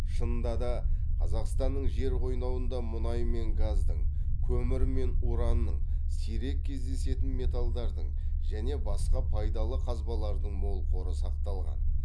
шынында да қазақстанның жер қойнауында мұнай мен газдың көмір мен уранның сирек кездесетін металдардың және басқа пайдалы қазбалардың мол қоры сақталған